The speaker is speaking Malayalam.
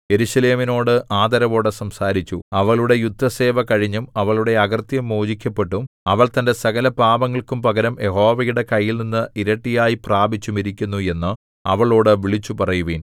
യെരൂശലേമിനോട് ആദരവോടെ സംസാരിച്ചു അവളുടെ യുദ്ധസേവ കഴിഞ്ഞും അവളുടെ അകൃത്യം മോചിക്കപ്പെട്ടും അവൾ തന്റെ സകലപാപങ്ങൾക്കും പകരം യഹോവയുടെ കൈയിൽനിന്ന് ഇരട്ടിയായി പ്രാപിച്ചുമിരിക്കുന്നു എന്ന് അവളോടു വിളിച്ചുപറയുവിൻ